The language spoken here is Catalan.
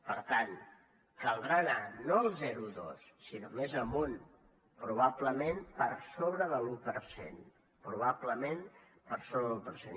per tant caldrà anar no al zero coma dos sinó més amunt probablement per sobre de l’un per cent probablement per sobre de l’un per cent